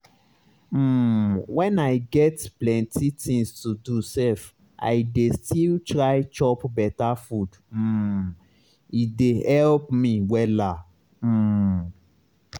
um when i get plenty things to do sef i dey still try chop beta food um e dey help me wella. um